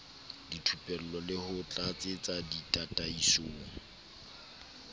dithupello le ho tlatsetsa ditataisong